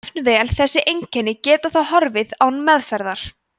jafnvel þessi einkenni geta þó horfið án meðferðar